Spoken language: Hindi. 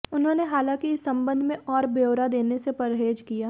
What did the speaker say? उन्होंने हालांकि इस संबंध में और ब्यौरा देने से परहेज किया